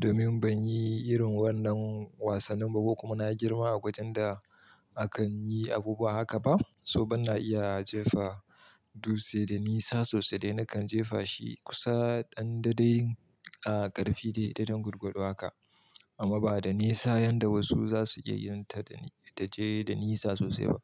domin ban yi irin wannan wasannin ba kuma na girma a wajen da akan yi abubuwa haka ba. So ban na iya jefa dutse da nisa sosai dai na kan jefa shi kusa ɗan daidai a ƙarfi dai daidai gwargwado haka amma ba da nisa yanda wasu za su iya yin ta da ta je da nisa sosai ba.